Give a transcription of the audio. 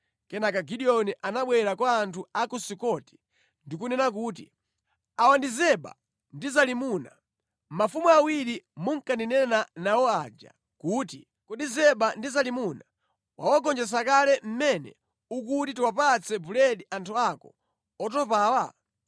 Kenaka Gideoni anabwera kwa anthu a ku Sukoti ndi kunena kuti, “Awa ndi Zeba ndi Zalimuna, mafumu awiri munkandinena nawo aja kuti, ‘Kodi Zeba ndi Zalimuna wawagonjetsa kale mmene ukuti tiwapatse buledi anthu ako otopawa?’ ”